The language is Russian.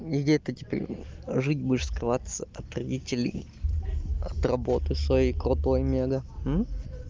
где-то теперь жить будешь скрываться от родителей от работы своей крутой мега